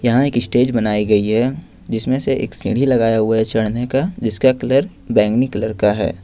यहां एक स्टेज बनाई गई है जिसमें से एक सीढ़ी लगाया हुआ है चढ़ने का जिसका कलर बैंगनी कलर का है।